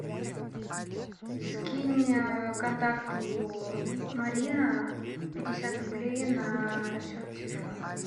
скинь контакту марина пятьдесят рублей на счет телефона